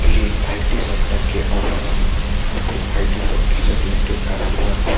ये IT sector के office है। यहाँ पे आई.टी सेक्टर से रिलेटेड काफी वर्क हो --